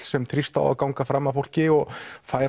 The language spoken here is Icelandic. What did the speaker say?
sem þrífst á að ganga fram af fólki og fær